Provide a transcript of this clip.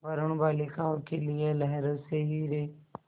वरूण बालिकाओं के लिए लहरों से हीरे